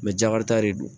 jakarita de don